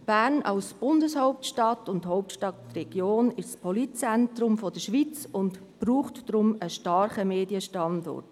Bern als Bundeshauptstadt und als Hauptstadtregion ist das politische Zentrum der Schweiz und braucht deshalb einen starken Medienstandort.